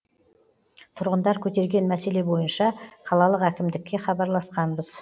тұрғындар көтерген мәселе бойынша қалалық әкімдікке хабарласқанбыз